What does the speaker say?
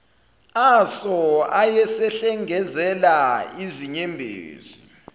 aso ayesehlengezela izinyembezi